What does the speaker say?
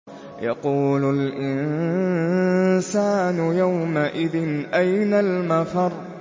يَقُولُ الْإِنسَانُ يَوْمَئِذٍ أَيْنَ الْمَفَرُّ